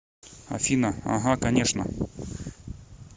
афина ага конечно